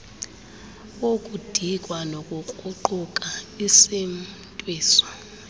wokudikwa nokukruquka isimntwiso